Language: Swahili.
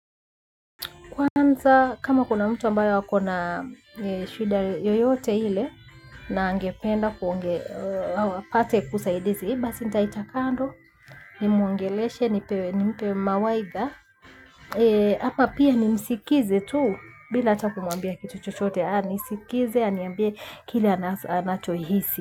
Kwanza kama kuna mtu ambayo akona shida yoyote iile na angependa pate kusaidizi, basi nitaita kando, ni muongeleshe, nimpe mawaidha. Hapa pia nimsikize tu bila atakumwambia kitu chochote, anisikize, aniambie kile anacho hisi.